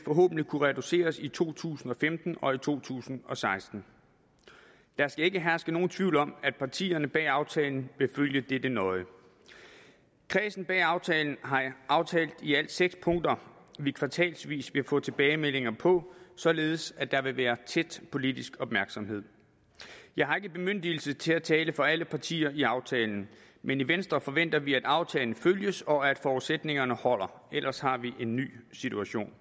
kunne reduceres i to tusind og femten og i to tusind og seksten der skal ikke herske nogen tvivl om at partierne bag aftalen vil følge dette nøje kredsen bag aftalen har aftalt i alt seks punkter som vi kvartalsvis vil få tilbagemeldinger på således at der vil være tæt politisk opmærksomhed jeg har ikke bemyndigelse til at tale for alle partier i aftalen men i venstre forventer vi at aftalen følges og at forudsætningerne holder ellers har vi en ny situation